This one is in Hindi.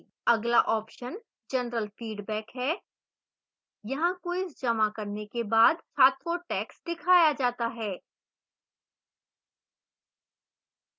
अगला option general feedback है यहाँ quiz जमा करने के बाद छात्र को टैक्स्ट दिखाया जाता है